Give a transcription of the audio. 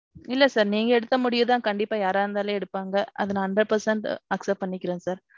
இல்ல sir நீங்க எடுத்த முடிவுதான் கண்டிப்பா யாரா இருந்தாலும் எடுப்பாங்க. அத நான் hundred percent accept பன்னிக்குறேன் sir.